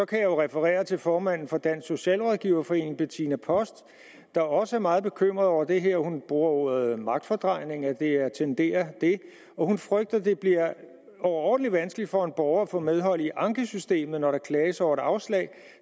kan jeg referere til formanden for dansk socialrådgiverforening bettina post der også er meget bekymret over det her hun bruger ordet magtfordrejning at det tenderer det hun frygter at det bliver overordentlig vanskeligt for en borger at få medhold i ankesystemet når der klages over et afslag